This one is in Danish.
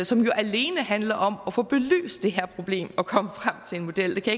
som jo alene handler om at få belyst det her problem og komme frem til en model det kan